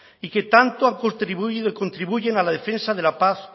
y que tanto contribuyen a la defensa de la paz